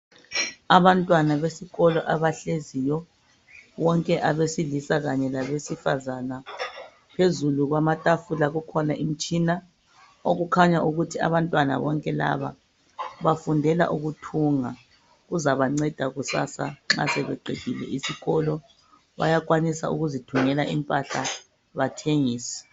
Abantwana besikolo abahleziyo bonke abesilisa kanye labesifazana phezulu kwamatafula kukhona umtshina okukhanya ukuthi abantwana bonke laba bafundela ukuthunga. Kuzabanceda kusasa nxa sebeqedile isikolo bayakwanisa ukuzithungela impahla bathengise.